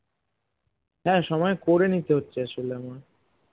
না না সময় করে নিতে হচ্ছে আসলে আমার